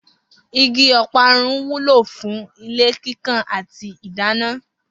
Igi o̩parun wúlò fún ilé kíkàn àti ìdáná